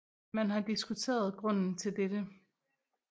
Man har diskuteret grunden til dette